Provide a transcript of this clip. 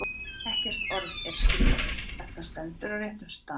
Ekkert orð er skrípi, ef það stendur á réttum stað.